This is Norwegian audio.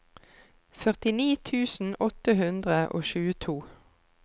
førtini tusen åtte hundre og tjueto